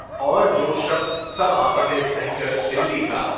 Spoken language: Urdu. اور جو شخص سب آفتیں سہہ کر دلی کا